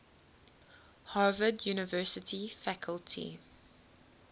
harvard university faculty